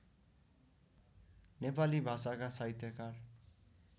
नेपाली भाषाका साहित्यकार